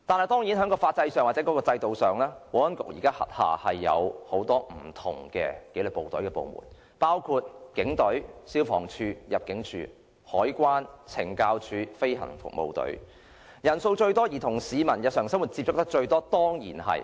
當然在法制上或制度上，保安局現時轄下有很多紀律部隊部門，包括警隊、消防處、入境事務處、海關、懲教署、飛行服務隊，當中以警隊人數最多，與市民日常生活接觸最緊密。